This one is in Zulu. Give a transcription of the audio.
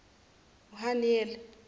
uhaniyeli